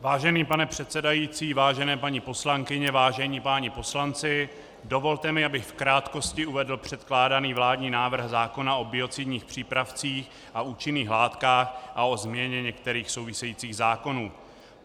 Vážený pane předsedající, vážené paní poslankyně, vážení páni poslanci, dovolte mi, abych v krátkosti uvedl předkládaný vládní návrh zákona o biocidních přípravcích a účinných látkách a o změně některých souvisejících zákonů.